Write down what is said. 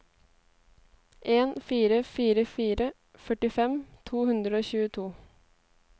en fire fire fire førtifem to hundre og tjueto